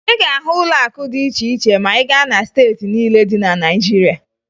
Ị ga-ahụ ụlọakụ dị iche iche ma ị gaa na steeti niile dị na Naịjirịa